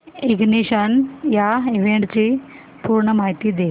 ignition या इव्हेंटची पूर्ण माहिती दे